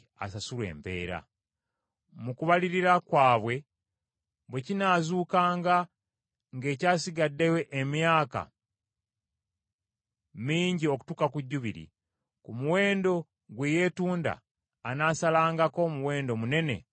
Mu kubalirira kwabwe bwe kinaazuukanga ng’ekyasigaddeyo emyaka mingi okutuuka ku Jjubiri, ku muwendo gwe yeetunda anaasasulangako omuwendo munene olw’okwenunula.